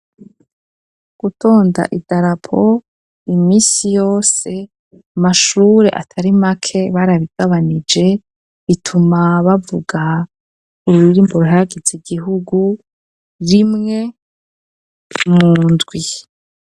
Gutonda idarapo, iminsi yose, amashure atari make, barabigabanije; bituma bavuga, ururirimbo ruhayagiza igihugu, rimwe mu ndwi.